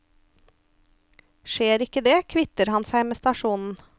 Skjer ikke det, kvitter han seg med stasjonen.